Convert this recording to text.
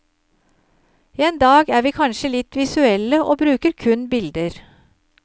En dag er vi kanskje litt visuelle og bruker kun bilder.